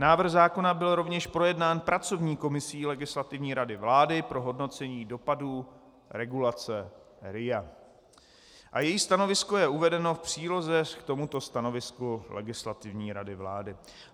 Návrh zákona byl rovněž projednán pracovní komisí Legislativní rady vlády pro hodnocení dopadů regulace RIA a její stanovisko je uvedeno v příloze k tomuto stanovisku Legislativní rady vlády.